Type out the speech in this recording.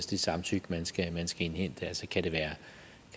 det samtykke man skal indhente kan det være